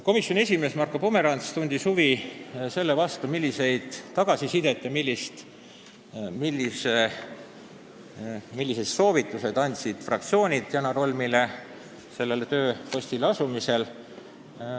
Komisjoni esimees Marko Pomerants tundis huvi, millist tagasisidet ja milliseid soovitusi andsid fraktsioonid Janar Holmile sellele tööpostile asumisel.